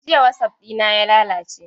Jiya wasap ɗina ya lalace.